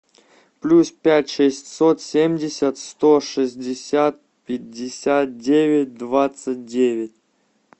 плюс пять шестьсот семьдесят сто шестьдесят пятьдесят девять двадцать девять